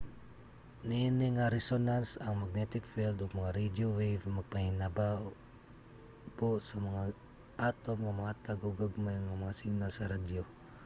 niini nga resonance ang magnetic field ug mga radio wave magpahinabo sa mga atom nga mohatag og gagmay nga mga signal sa radyo